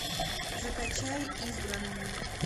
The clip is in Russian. закачай избранный